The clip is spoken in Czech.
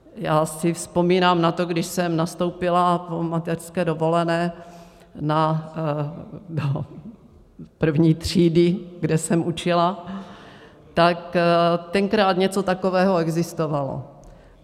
Já si vzpomínám na to, když jsem nastoupila po mateřské dovolené do první třídy, kde jsem učila, tak tenkrát něco takového existovalo.